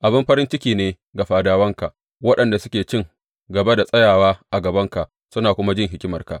Abin farin ciki ne ga fadawanka, waɗanda suke cin gaba da tsayawa a gabanka suna kuma jin hikimarka!